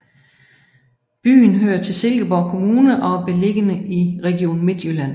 Byen hører til Silkeborg Kommune og er beliggende i Region Midtjylland